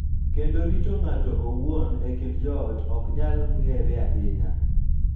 Kendo rito ng�ato owuon e kind joot ok nyal ng�ere ahinya,